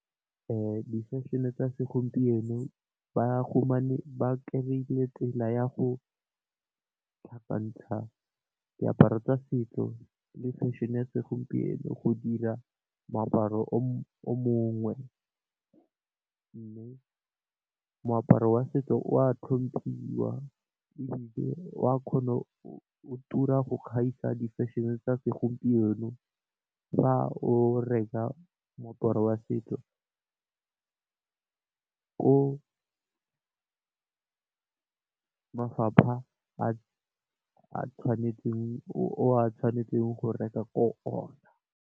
Di fešhene tsa segompieno ba gumane ba kry-ile tsela ya go tlhakantsha diaparo tsa setso le fešhene ya segompieno go dira moaparo o mongwe. Mme moaparo wa setso wa tlhomphiwa ebile wa kgona o tura go gaisa di fešhene tsa segompieno. Fa o reka moaparo wa setso ko mafapha a tshwanetseng o a tshwanetseng go reka ko ona.